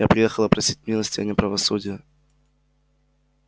я приехала просить милости а не правосудия